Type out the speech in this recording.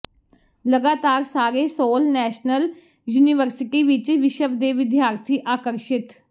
ਲਗਾਤਾਰ ਸਾਰੇ Seoul national university ਵਿੱਚ ਵਿਸ਼ਵ ਦੇ ਵਿਦਿਆਰਥੀ ਆਕਰਸ਼ਿਤ